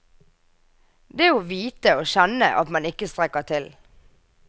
Det å vite og kjenne at man ikke strekker til.